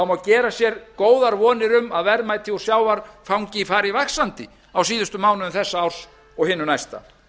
má gera sér góðar vonir að verðmæti úr sjávarfangi fari vaxandi á síðustu mánuðum þessa árs og hinu næsta